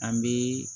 An bɛ